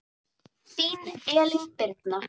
Þín Elín Birna.